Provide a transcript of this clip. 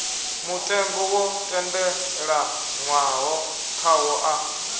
mutengo wo tendelanwaho khawo a